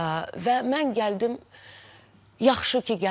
Və mən gəldim, yaxşı ki gəldim.